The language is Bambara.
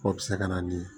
O bɛ se ka na ni